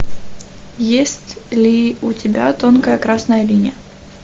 есть ли у тебя тонкая красная линия